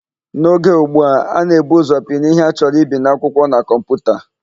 N'oge ụgbu a, a na-ebu ụzọ pinye ihe a chọrọ ibi n'akwụkwọ na kọmputa.